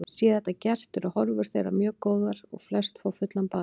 Sé þetta gert eru horfur þeirra mjög góðar og flest fá fullan bata.